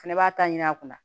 Fɛnɛ b'a ta ɲini a kunna